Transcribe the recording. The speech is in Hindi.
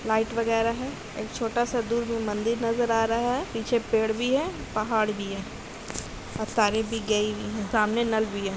लाइट वगेरा है एक छोटा सा दूर मंदिर नजर आ रहा है पीछे पेड़ भी है पहाड़ भी है सामने नल भी है